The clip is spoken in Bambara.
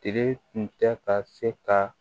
Tile tun tɛ ka se ka